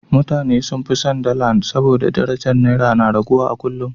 Mutane sun fi son dala saboda darajar Naira na raguwa a kullum.